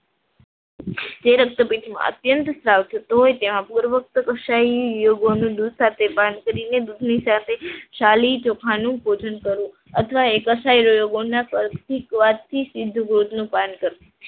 જેવી રક્તપીતમાં અત્યંત સ્ત્રાવ થતો હોય તેમાં પૂર્વ કક્ષાએ ગાયના દૂધ સાથે દૂધની સાથે સાલી ચોખાનું ભોજન કરવું અથવા